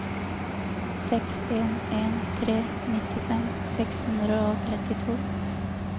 seks en en tre nittifem seks hundre og trettito